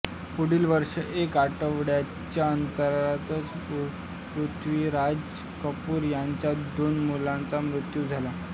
पुढील वर्षी एका आठवड्याच्या अंतरातच पृथ्वीराज कपूर यांच्या दोन मुलांचा मृत्यू झाला